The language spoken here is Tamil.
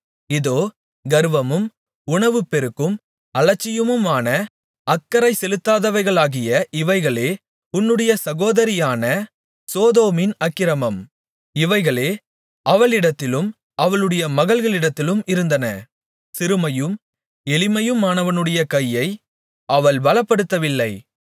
இதோ கர்வமும் உணவுப்பெருக்கும் அலட்சியமான அக்கறை செலுத்தாதவைகளாகிய இவைகளே உன்னுடைய சகோதரியான சோதோமின் அக்கிரமம் இவைகளே அவளிடத்திலும் அவளுடைய மகள்களிடத்திலும் இருந்தன சிறுமையும் எளிமையுமானவனுடைய கையை அவள் பலப்படுத்தவில்லை